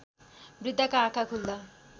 वृद्घाका आँखा खुल्दा